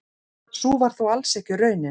Sú var þó alls ekki raunin.